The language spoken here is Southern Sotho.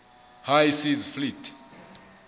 high seas fleet